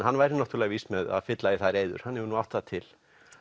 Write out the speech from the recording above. hann væri náttúrulega vís með að fylla í þær eyður hann hefur nú átt það til